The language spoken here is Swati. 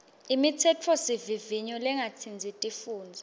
imitsetfosivivinyo lengatsintsi tifundza